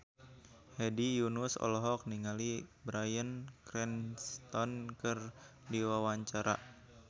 Hedi Yunus olohok ningali Bryan Cranston keur diwawancara